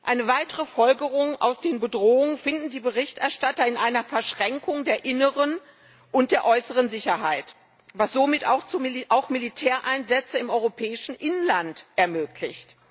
Eine weitere Folgerung aus den Bedrohungen finden die Berichterstatter in einer Verschränkung der inneren und der äußeren Sicherheit, was somit auch Militäreinsätze im europäischen Inland ermöglicht.